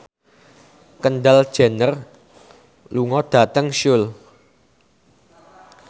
Kendall Jenner lunga dhateng Seoul